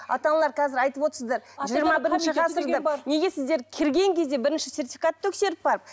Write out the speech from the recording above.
ата аналар қазір айтып отырсыздар жиырма бірінші ғасыр деп неге сіздер кірген кезде бірінші сертификатты тексеріп барып